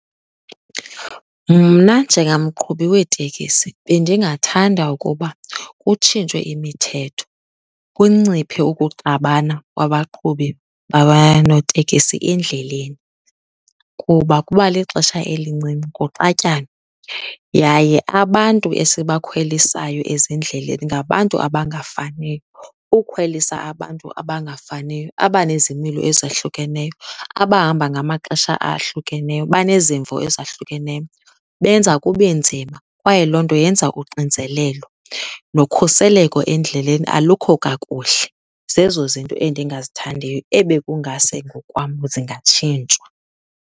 Mna njengamqhubi weetekisi bendingathanda ukuba kutshintshwe imithetho, kunciphe ukuxabana kwabaqhubi babaya notekisi endleleni kuba kuba lixesha elincinci kuxatyanwe. Yaye abantu esibakhwelisayo ezindleleni ngabantu abangafaniyo. Ukhwelisa abantu abangafaniyo, abanezimilo ezahlukeneyo, abahamba ngamaxesha ahlukeneyo, banezimvo ezahlukeneyo, benza kube nzima. Kwaye loo nto yenza uxinzelelo, nokhuseleko endleleni alukho kakuhle. Zezo zinto endingazithandiyo ebekungase ngokwam zingatshintshwa.